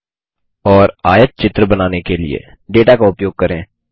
और आयतचित्रहिस्टोग्राम बनाने के लिए डेटा का उपयोग करें